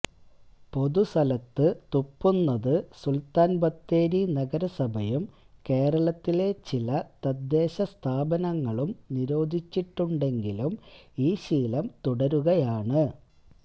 പൊതുസ്ഥലത്ത് തുപ്പുന്നത് സുൽത്താൻബത്തേരി നഗരസഭയും കേരളത്തിലെ ചില തദ്ദേശസ്ഥാപനങ്ങളും നിരോധിച്ചിട്ടുണ്ടെങ്കിലും ഈ ശീലം തുടരുകയാണ്